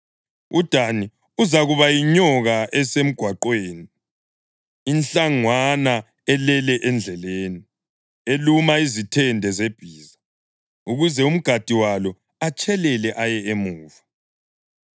UDani uzakuba yinyoka esemgwaqweni, inhlangwana elele endleleni, eluma izithende zebhiza ukuze umgadi walo atshelele aye emuva.